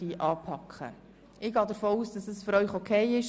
Ich gehe davon aus, dass dies für Sie in Ordnung ist.